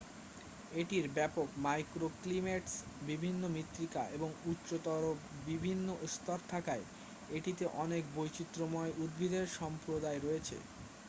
এটির ব্যাপক মাইক্রোক্লিমেটস বিভিন্ন মৃত্তিকা এবং উচ্চতর বিভিন্ন স্তর থাকায় এটিতে অনেক বৈচিত্রময় উদ্ভিদের সম্প্রদায় রয়েছে